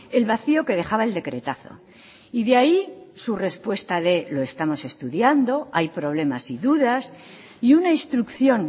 el vacío que dejaba el decretazo y de ahí su respuesta de lo estamos estudiando hay problemas y dudas y una instrucción